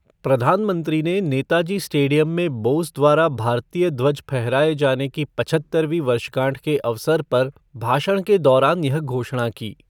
प्रधानमंत्री ने नेताजी स्टेडियम में बोस द्वारा भारतीय ध्वज फहराए जाने की पचहत्तरवीं वर्षगांठ के अवसर पर भाषण के दौरान यह घोषणा की।